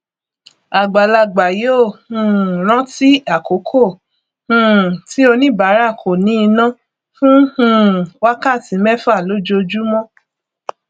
àgbàlagbà yóò um rántí àkókò um tí oníbàárà kò ní iná fún um wákàtí mẹfà lójoojúmọ